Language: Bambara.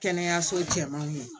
Kɛnɛyaso cɛmanw ye